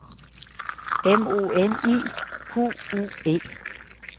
M O N I Q U E